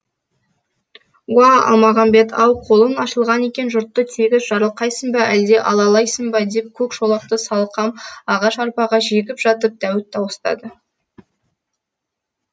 уа алмағамбет ау қолың ашылған екен жұртты тегіс жарылқайсың ба әлде алалайсың ба деп көк шолақты салқам ағаш арбаға жегіп жатып дәуіт дауыстады